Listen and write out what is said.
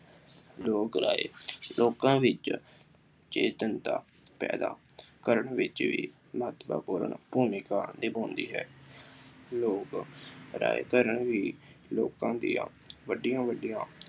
ਲੋਕ ਰਾਏ ਲੋਕਾਂ ਵਿੱਚ ਚੇਤਨਤਾ ਪੈਦਾ ਕਰਨ ਵਿੱਚ ਵੀ ਮਹੱਤਵਪੂਰਨ ਭੂਮਿਕਾ ਨਿਭਾਉਂਦੀ ਹੈ। ਲੋਕ ਰਾਏ ਕਰਨ ਵੀ ਲੋਕਾਂ ਦੀਆਂ ਵੱਡੀਆਂ ਵੱਡੀਆਂ